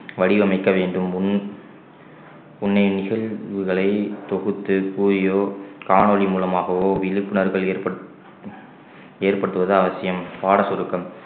வடிவமைக்க வேண்டும் முன் முன்னே நிகழ்வுகளை தொகுத்து கூறியோ காணொளி மூலமாகவோ விழிப்புணர்வுகள் ஏற்பட்~ ஏற்படுத்துவது அவசியம் பாட சுருக்கம்